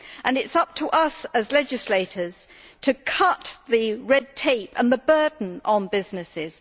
It is up to us, as legislators, to cut the red tape and the burden on businesses.